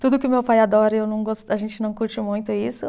Tudo que o meu pai adora, eu não gos, a gente não curte muito isso.